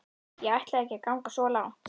Ég ætlaði ekki að ganga svo langt.